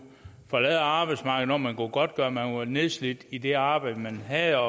forlade arbejdsmarkedet når man kunne godtgøre at man var nedslidt i det arbejde man havde